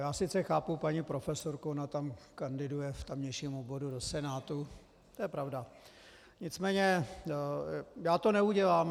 Já sice chápu paní profesorku, ona tam kandiduje v tamějším obvodu do Senátu, to je pravda, nicméně já to neudělám.